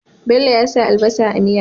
Bello ya sa albasa a miyar